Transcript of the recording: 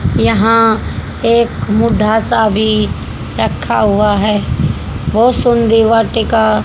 यहां एक मुढा सा भी रखा हुआ है बहु सुं दी वाटिका--